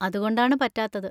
അതുകൊണ്ടാണ് പറ്റാത്തത്.